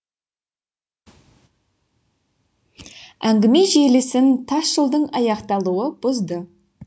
әңгіме желісін тас жолдың аяқталуы бұзды